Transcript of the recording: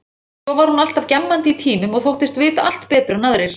Svo var hún alltaf gjammandi í tímum og þóttist vita allt betur en aðrir.